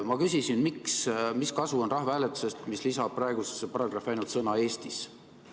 Ma küsisin, mis kasu on rahvahääletusest, mis lisab praegusesse paragrahvi ainult sõna "Eestis".